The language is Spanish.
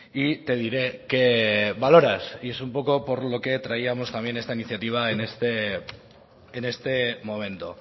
y te diré qué valoras y es un poco por lo que traíamos también esta iniciativa en este momento